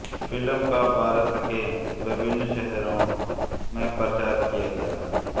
film का भारत के विभिन्न शहरों में प्रचार किया गया